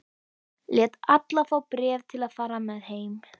Lét alla fá bréf til að fara með heim.